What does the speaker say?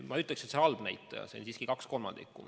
Ma ei ütleks, et see on halb näitaja, see on siiski kaks kolmandikku.